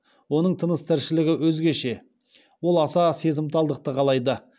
оның тыныс тіршілігі өзгеше ол аса сезімталдықты қалайды